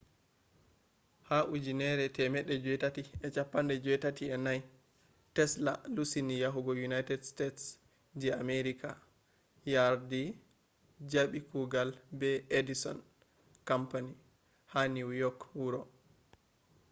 ha 1884 tesla lusini yahugo united states je america yardi jabi kugal be edison company ha new york wuro